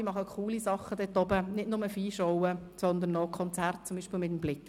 Sie machen coole Sachen dort – nicht nur Viehschauen, sondern Konzerte, zum Beispiel mit dem Musiker Bligg.